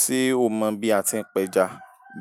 Ṣé o mọ̀ bí a ti ń pẹja?